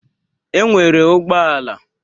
E nwere ụgbọala